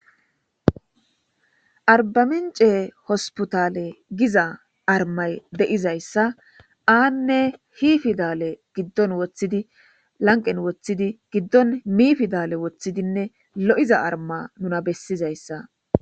arbamincee hospitaale giza armay de7izayssa aanne hi fidale giddon woththidi lanqen woththidi giddon miifidale woththidinne lo7iza arma nuna bessizayssa